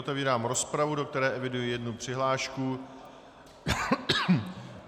Otevírám rozpravu, do které eviduji jednu přihlášku.